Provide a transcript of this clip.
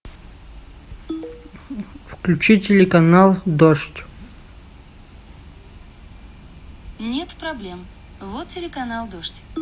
включи телеканал дождь